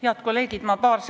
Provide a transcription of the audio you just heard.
Head kolleegid!